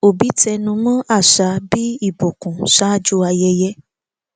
òbí àṣà bí ìbùkún ṣáájú ayẹyẹ